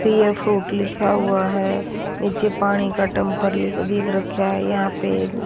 पिय फ्रूट लिखा हुआ है नीचे पानी का टम्पर लिख दिख रखा है यहा पे एक--